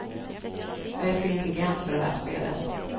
Jag är för intelligent för det där spelet.